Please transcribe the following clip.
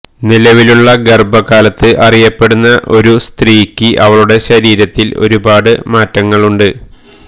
നിലവിലുള്ള ഗർഭകാലത്ത് അറിയപ്പെടുന്ന ഒരു സ്ത്രീക്ക് അവളുടെ ശരീരത്തിൽ ഒരുപാട് മാറ്റങ്ങളുണ്ട്